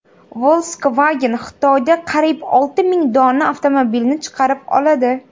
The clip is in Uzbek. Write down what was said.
Volkswagen Xitoyda qariyb olti ming dona avtomobilni chaqirib oladi.